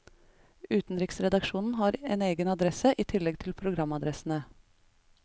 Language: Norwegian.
Utenriksredaksjonen har en egen adresse, i tillegg til programadressene.